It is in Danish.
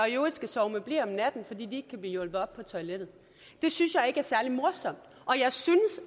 i øvrigt skal sove med ble om natten fordi de ikke kan blive hjulpet op på toilettet det synes jeg ikke er særlig morsomt og jeg synes